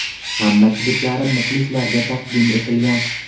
Hamma kliplarim muxlislarga taqdim etilgan.